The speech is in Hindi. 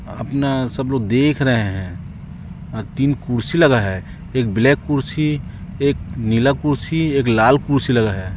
अपना सब लोग देख रहे है अह तीन कुर्सी लगाया है एक ब्लैक कुर्सी एक नीला कुर्सी एक लाल कुर्सी लगा है।